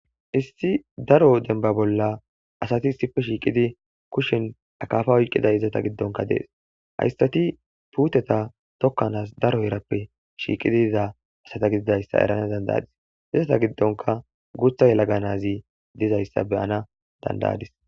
Issi daro denba bolla asati issife shiiqidi kushen akaafa oyqqiday izata giddonka dees hayssati puuteta tokkanaas daro erappe shiiqidi iza asata gididayssa erana dandaadis izata giddonka guutha yelaganazi dizayssa beyana dandayadis